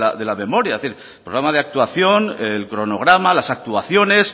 de la memoria es decir programa de actuación el cronograma las actuaciones